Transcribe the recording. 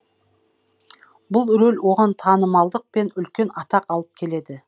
бұл рөл оған танымалдық пен үлкен атақ алып келеді